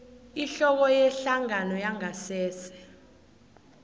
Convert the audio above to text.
ihloko yehlangano yangasese